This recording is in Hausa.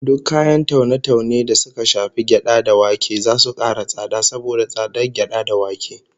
Duk kayan taune-taune da suka shafi gyada da wake zasu kara tsada saboda tsadar gyada da wake